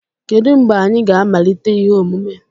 Kedu mgbe anyị ga-amalite ihe omume?